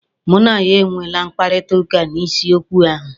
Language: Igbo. Mụ na ya e nweele mkpakọrịtaụka n'isi okwu ahụ.